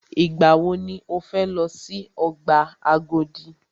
Ìgbà wọ ni o fẹ lọ si ọgbà Agodi?